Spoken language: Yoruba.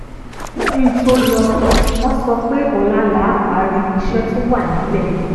kí n tó lọ wọ́n sọ pé ọ̀la là á parí iṣẹ́ to wà nílẹ̀